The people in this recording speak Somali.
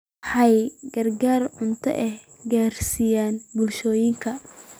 Waxay gargaar cunto ah gaarsiiyeen bulshooyinka.